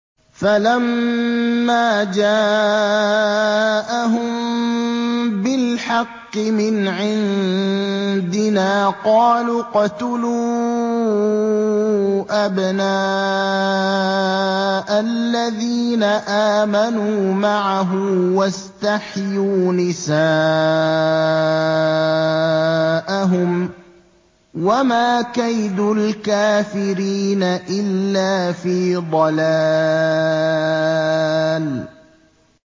فَلَمَّا جَاءَهُم بِالْحَقِّ مِنْ عِندِنَا قَالُوا اقْتُلُوا أَبْنَاءَ الَّذِينَ آمَنُوا مَعَهُ وَاسْتَحْيُوا نِسَاءَهُمْ ۚ وَمَا كَيْدُ الْكَافِرِينَ إِلَّا فِي ضَلَالٍ